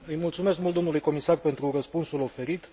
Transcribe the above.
Îi mulțumesc mult domnului comisar pentru răspunsul oferit.